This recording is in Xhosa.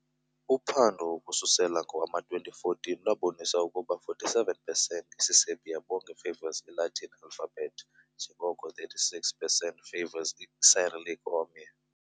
A uphando ukususela ngowama-2014 lwabonisa ukuba 47 pesenti isiserbia bonke favors i-Latin alphabet njengoko 36 pesenti favors i-Isicyrillic omnye.